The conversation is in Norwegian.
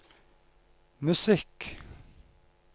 musikk